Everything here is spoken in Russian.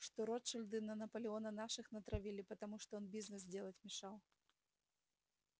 что ротшильды на наполеона наших натравили потому что он бизнес делать мешал